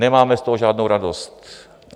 Nemáme z toho žádnou radost.